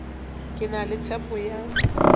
ke na le tshepo ya